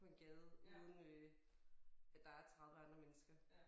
På en gade uden øh at der er 30 andre mennesker